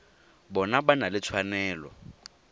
bona ba na le tshwanelo